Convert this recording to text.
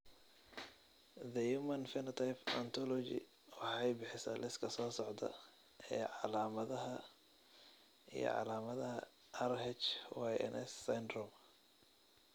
The Human Phenotype Ontology waxay bixisaa liiska soo socda ee calaamadaha iyo calaamadaha RHYNS syndrome.